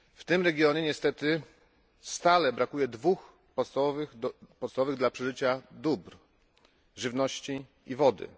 W tym regionie niestety stale brakuje dwóch podstawowych dla przeżycia dóbr żywności i wody.